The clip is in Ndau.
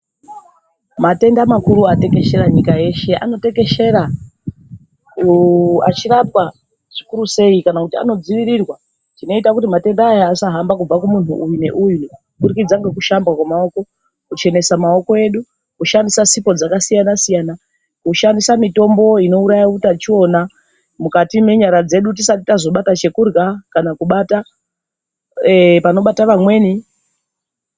Matenda makuru atekeshera nyika yeshe, anotekeshera achirwapa zvikuru seyi kana kuti anodzivirirwa zvinoita kuti matenda aya asahamba kubva kumunhu uyu neuyu kubudikidza ngekushamba kwemawoko ,kuchenesa mawoko edu, kushandisa sipo dzakasiyana siyana. Kushandisa mitombo inowuraya hutachiona mukati menyara dzedu tisati tazobata chekudya kana kubata panobata vamweni.